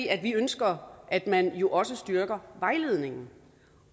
at vi ønsker at man også styrker vejledningen